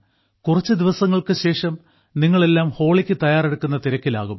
കുറച്ച് ദിവസങ്ങൾക്ക് ശേഷം നിങ്ങളെല്ലാം ഹോളിക്ക് തയ്യാറെടുക്കുന്ന തിരക്കിലാകും